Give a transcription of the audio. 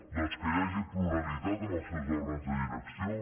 doncs que hi hagi pluralitat en els seus òrgans de direcció